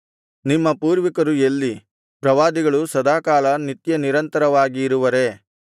ನಿಮ್ಮ ಪೂರ್ವಿಕರು ಎಲ್ಲಿ ಪ್ರವಾದಿಗಳು ಸದಾಕಾಲ ನಿತ್ಯನಿರಂತರವಾಗಿ ಇರುವರೇ